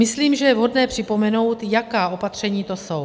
Myslím, že je vhodné připomenout, jaká opatření to jsou.